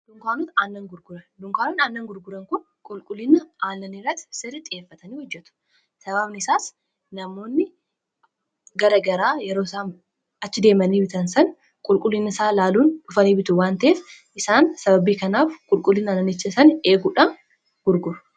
Dunkaanonni aannan gurguran kun qulqullini aannanii irratti sirritt xiyyeeffatanii hojjetu. sababni isaas namoonni garagaraa yeroo isaan achi deemanii bitan san qulqullinni isaa laaluun dhufanii bitu waan ta'ef isaan sababii kanaaf qulqullina aananicha san eeguudhaan gurguru.